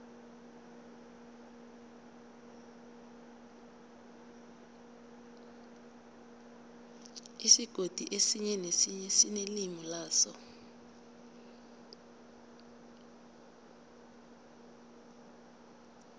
isigodi esinye nesinye sinelimi laso